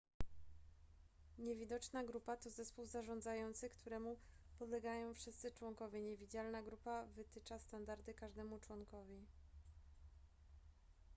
niewidoczna grupa to zespół zarządzający któremu podlegają wszyscy członkowie niewidzialna grupa wytycza standardy każdemu członkowi